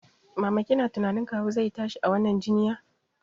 Mama kina tunanin kawu zai tashi a wannan jinya?